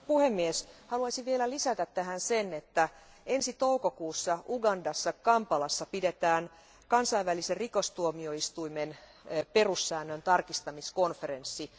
Arvoisa puhemies, haluaisin vielä lisätä tähän sen, että ensi toukokuussa Ugandassa Kampalassa pidetään kansainvälisen rikostuomioistuimen perussäännön tarkistamiskonferenssi.